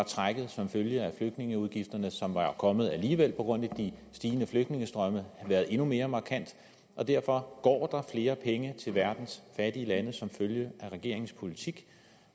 trækket som følge af flygtningeudgifterne som var kommet alligevel på grund af de stigende flygtningestrømme været endnu mere markant derfor går der flere penge til verdens fattige lande som følge af regeringens politik